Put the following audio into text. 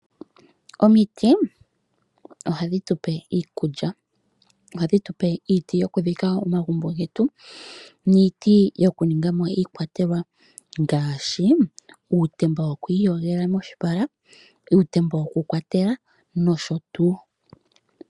Omiti ohadhi tu pe iikulya, ohadhi tu pe iiti yokudhika omagumbo getu niiti yokuninga mo iikwatelwa ngaashi uutemba woku iyogela moshipala, uutemba wokukwatela nosho tuu.